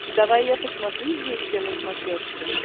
давай я посмотрю известия на смотрешке